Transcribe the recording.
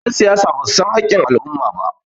yansiyasa ba su san hakkin al'umma ba